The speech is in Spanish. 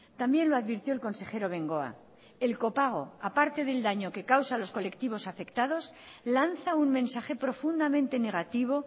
también lo advirtió el consejero bengoa el copago aparte del daño que causa a los colectivos afectados lanza un mensaje profundamente negativo